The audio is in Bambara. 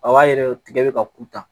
A b'a yɛrɛ tigɛ bɛ ka kuta